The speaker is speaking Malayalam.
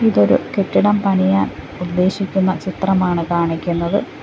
ഇതൊരു കെട്ടിടം പണിയാൻ ഉദ്ദേശിക്കുന്ന ചിത്രമാണ് കാണിക്കുന്നത്.